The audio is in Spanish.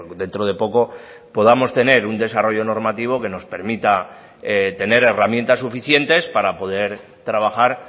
dentro de poco podamos tener un desarrollo normativo que nos permita tener herramientas suficientes para poder trabajar